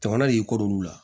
Jamana de y'i kodon olu la